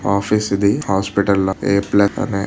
Office ఇది. Hospital లా